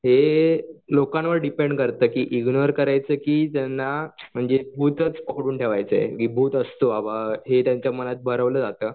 हे लोकांवर डिपेंड करतं की इग्नोर करायचं की ज्यांना म्हणजे भूतच पकडून ठेवायचं आहे की भूत असतं बाबा हे त्यांच्या मनात भरवलं जातं.